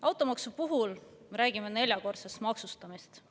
Automaksu puhul me räägime neljakordsest maksustamisest.